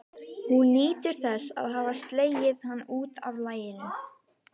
Hún nýtur þess að hafa slegið hann út af laginu.